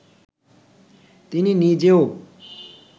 তিনি নিজেও